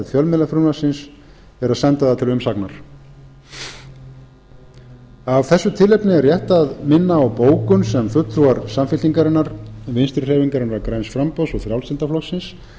fjölmiðlafrumvarpsins er að senda það til umsagnar af þessu tilefni er rétt að minna á bókun sem fulltrúar samfylkingarinnar vinstri hreyfingarinnar græns framboðs og frjálslynda flokksins